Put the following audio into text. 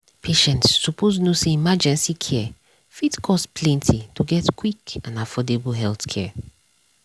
patients suppose know say emergency care fit cost plenty to get quick and affordable healthcare.